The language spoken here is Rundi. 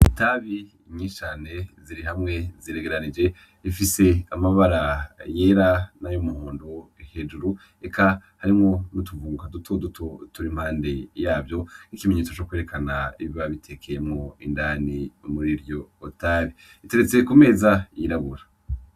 Itabi nyinshi cane ziri hamwe, ziregeranije, zifise amabara yera nay'umuhondo hejuru, eka harimwo n'utuvunguka dutoduto turi impande yaryo nk'ikimenyetso co kwerekana ibiba bitekeyemwo indani muri iryo tabi. Biteretse ku meza yirabura.